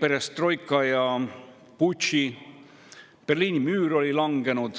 perestroika ja putši tõttu, Berliini müür oli langenud.